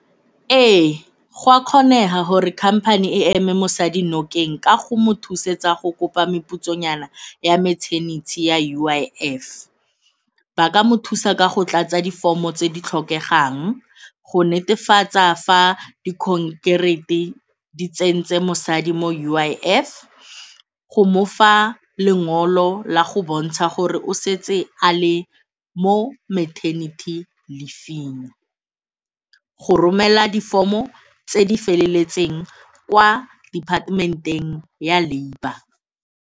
Ee, go a kgonega gore company e eme mosadi nokeng ka go mo thusetsa go kopa meputsonyana ya maternity ya U_I_F. Ba ka mo thusa ka go tlatsa di-form-o tse di tlhokegang, go netefatsa fa di di tsentse mosadi mo U_I_F go mofa lengolo la go bontsha gore o setse a le mo maternity leave-fing go romela di-form-o tse di feleletseng kwa department-eng ya labour.